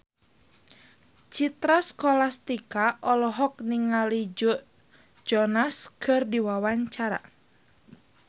Citra Scholastika olohok ningali Joe Jonas keur diwawancara